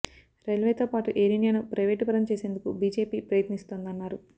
రైల్వేతో పాటు ఎయిర్ ఇండియాను ప్రైవేటు పరం చేసేందుకు బీజేపీ ప్రయత్నిస్తోందన్నారు